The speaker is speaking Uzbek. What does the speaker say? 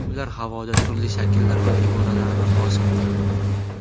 Ular havoda turli shakllar va iboralarni hosil qildi.